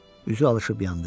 Üzü alışıb yandı.